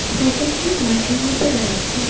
Cycle -টি মাঠের মধ্যে রয়েছে।